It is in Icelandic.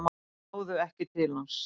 Náðu ekki til hans